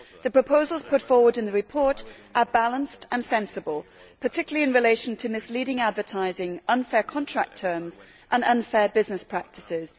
The proposals put forward in the report are balanced and sensible, particularly in relation to misleading advertising, unfair contract terms and unfair business practices.